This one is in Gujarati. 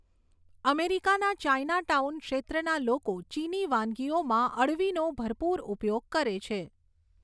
અમેરિકાના ચાઇનાટાઉન ક્ષેત્રના લોકો ચીની વાનગીઓમાં અળવીનો ભરપૂર ઉપયોગ કરે છે.